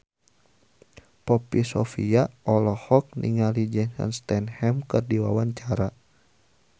Poppy Sovia olohok ningali Jason Statham keur diwawancara